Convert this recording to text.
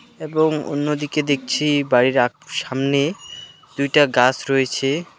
এবং অন্যদিকে দেখছি বাড়ির আক সামনে দুইটা গাছ রয়েছে .